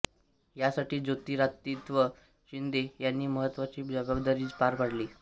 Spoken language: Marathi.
या साठी ज्योतिरादित्य शिंदे यांनी महत्वाची जबाबदारी पार पडली